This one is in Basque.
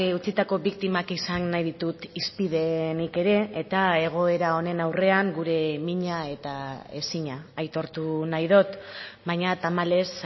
utzitako biktimak izan nahi ditut hizpide nik ere eta egoera honen aurrean gure mina eta ezina aitortu nahi dut baina tamalez